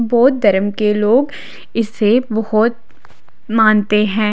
बोध धर्म के लोग इसे बहोत मानते है।